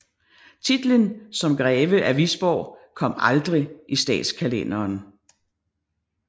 Titlen som greve af Wisborg kom aldrig i statskalenderen